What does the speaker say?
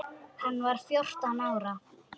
Hann var fjórtán ára.